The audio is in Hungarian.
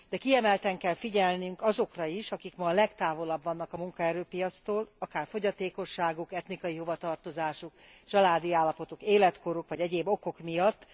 De kiemelten kell figyelnünk azokra is, akik ma a legtávolabbra vannak a munkaerőpiactól, akár fogyatékosságuk, etnikai hovatartozásuk, családi állapotuk, életkoruk vagy egyéb okok miatt.